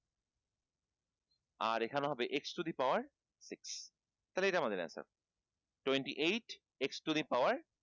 আর এখানে হবে x to the power six তালে এটা আমাদের twenty eight x to the power